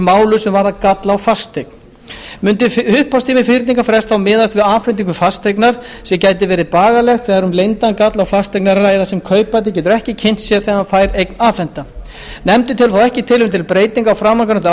málum sem varða galla á fasteign mundi upphafstími fyrningarfrests þá miðast við afhendingu fasteignar sem gæti verið bagalegt þegar um leyndan galla á fasteign er að ræða sem kaupandi getur ekki kynnt sér þegar hann fær eign afhenta nefndin telur þó ekki tilefni til breytinga á framangreindu